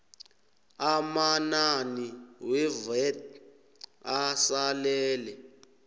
amanani wevat asalele